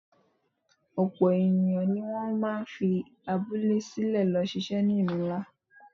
Ọ̀pọ̀ èèyàn ni wọ́n máa ń fi abúlé sílẹ̀ lọ ṣiṣẹ́ ní ìlú ńlá